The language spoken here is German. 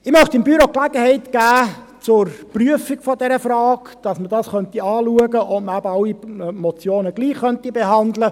Ich möchte dem Büro die Gelegenheit zur Prüfung dieser Frage geben, damit angeschaut werden kann, ob alle Motionen gleichbehandelt werden könnten.